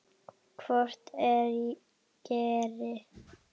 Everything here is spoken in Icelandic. Hvort ég geri!